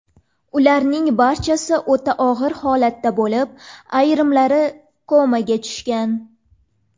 Ularning barchasi o‘ta og‘ir holatda bo‘lib, ayrimlari komaga tushgan.